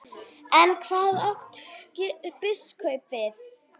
En hvað átti biskup við?